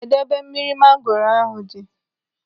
Kedụ ebe mmiri mangoro ahụ dị?